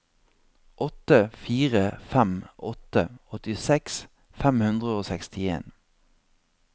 åtte fire fem åtte åttiseks fem hundre og sekstien